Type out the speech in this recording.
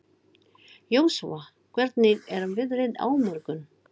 Jósúa, hvernig er veðrið á morgun?